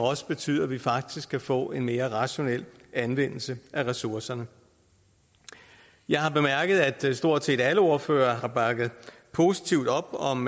også betyder at vi faktisk kan få en mere rationel anvendelse af ressourcerne jeg har bemærket at stort set alle ordførere har bakket positivt op om